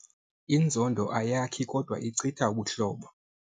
Inzondo ayakhi kodwa ichitha ubuhlobo.